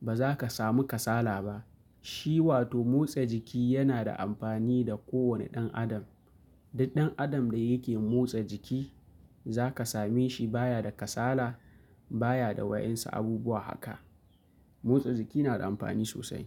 Ba za ka samu kasala ba. Shi wato motsa jiki yana da amfani da kowane ɗan adam. Duk ɗan adam da yake motsa jiki za ka same shi baya da kasala, baya da wayensu abubuwa haka. Motsa jiki nada amfani sosai.